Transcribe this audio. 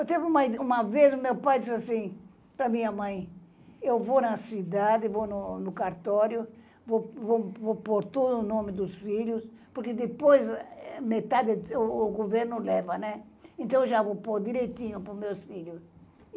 Teve uma uma vez, o meu pai disse assim para a minha mãe, eu vou na cidade, vou no no cartório, vou vou vou pôr todo o nome dos filhos, porque depois o governo leva, né, então já vou pôr direitinho para os meus filhos.